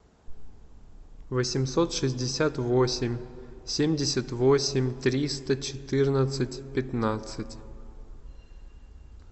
восемьсот шестьдесят восемь семьдесят восемь триста четырнадцать пятнадцать